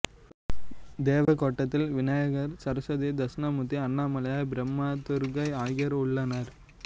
தேவக்கோட்டத்தில் விநாயகர் சரசுவதி தட்சிணாமூர்த்தி அண்ணாமலையார் பிரம்மா துர்க்கை ஆகியோர் உள்ளனர்